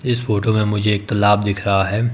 इस फोटो में मुझे एक तलाब दिख रहा है।